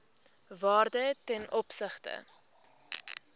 waarde ten opsigte